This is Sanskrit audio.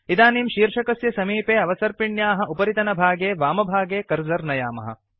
इदानीं शीर्षकस्य समीपे अवसर्पिण्याः उपरितनभागे वामभागे कर्सर् नयामः